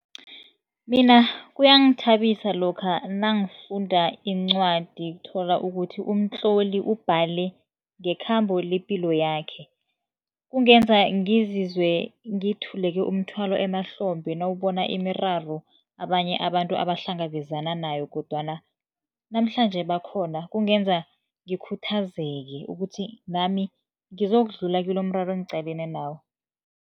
Mina kuyangithabisa lokha nangifunda incwadi, thola ukuthi umtloli ubhale ngekhambo lepilo yakhe. Kungenza ngizizwe ngithuleke umthwalo emahlombe, nawubona imiraro abanye abantu abahlangabezana nayo kodwana namhlanje bakhona. Kungenza ngikhuthazeke, ukuthi nami ngizokudlula kilomraro engiqalene nawo.